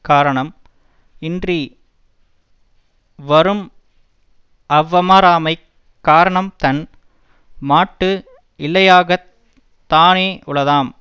காரணம் இன்றி வரும்அவ்வமராமைக் காரணம் தன் மாட்டு இல்லையாகத் தானே உளதாம்